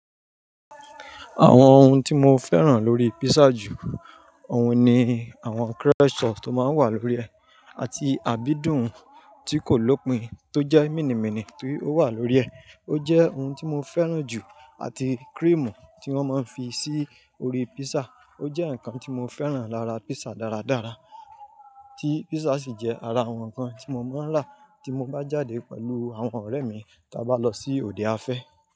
Àwọn ohun tí mo fẹ́ràn lórí pizza jù òun ni àwọn crushed sauce tó máa ń wà lórí ẹ àti àbídùn tí kò lópín tó jẹ́ mìnìmìnì tí ó wà lórí ẹ. Ó jẹ́ ohun tí mo fẹ́ràn jù àti cream tí wọ́n máa ń fi sí orí pizza. Ó jẹ́ nǹkan tí mo fẹ́ràn lára pizza dáradára, tí pizza sì jẹ́ ara àwọn ǹkan tí mo máa ń rà tí mo bá jáde pẹ̀lú àwọn ọ̀rẹ́ mi tí a bá lọ sí òde afẹ́